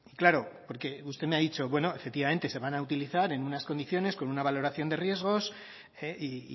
claro porque usted me ha dicho bueno efectivamente se van a utilizar en unas condiciones con una valoración de riesgos y